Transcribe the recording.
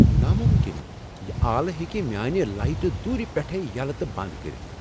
ناممکن! یہ آلہٕ ہیکہ میٲنہِ لایٹہٕ دورِ پیٹھٕے یلہٕ تہٕ بند کٔرتھ ۔